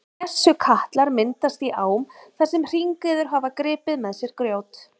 Skessukatlar myndast í ám þar sem hringiður hafa gripið með sér grjót.